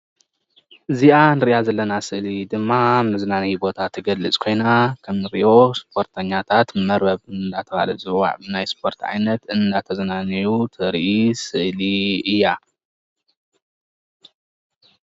እዚኣ ንርያ ዘለና ስእሊ ድማ መዝናነይ ቦታ ትገልፅ ኮይና ከምንርእዮ ስፖርተኛታት መርበብ እናተባህለ ዝፅዋዕ ናይ ስፖርት ዓይነት እናተዘናነዩ ዘርኢ ስእሊ እያ።